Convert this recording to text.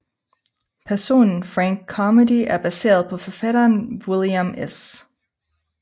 Personen Frank Carmody er baseret på forfatteren William S